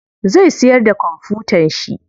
Zai siyar da kwamfutan shi.